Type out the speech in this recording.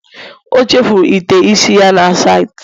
O chefuru ite isi ya na saịtị